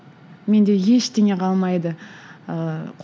менде ештеңе қалмайды ыыы